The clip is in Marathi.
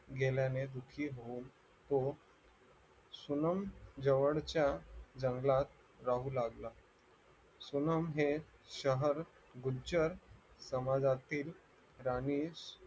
गेल्याने दुःखी होऊन तो सुनम जवळच्या जंगलात राहू लागला सुनम हे शहर गुज्जर समाजातील जाणीव